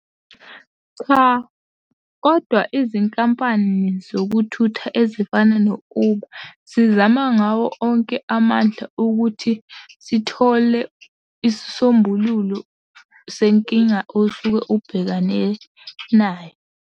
Cha, kodwa izinkampani zokuthutha ezifana no-Uber zizama ngawo onke amandla ukuthi zithole isisombululo senkinga osuke ubhekane nayo.